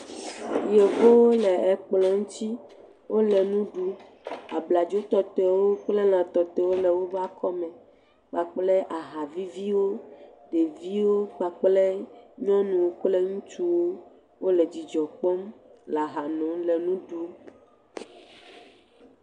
Yevuwo le kplɔ̃ ŋuti. Wole nu ɖum. Abladzo tɔtɔe kple lã tɔtɔewo le woƒe akɔme kpakple aha viviwo. Ɖeviwo kpakple nyɔnuwo kple ŋutsuwo le dzidzɔ kpɔm le aha nom le nu ɖum.